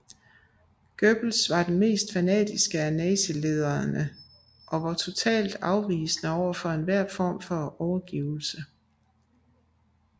Goebbels var den mest fanatiske af nazilederne og var totalt afvisende over for enhver form for overgivelse